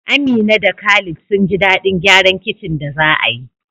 Amina da Khalid sun ji daɗin gyaran kicin da za a yi.